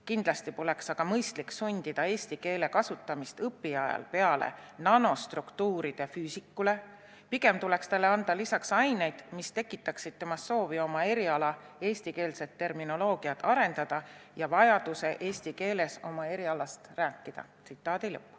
Kindlasti poleks aga mõistlik sundida eesti keele kasutamist õpiajal peale nanostruktuuride füüsikule, pigem tuleks talle anda lisaks aineid, mis tekitaksid temas soovi oma eriala eestikeelset terminoloogiat arendada ja vajaduse eesti keeles oma erialast rääkida.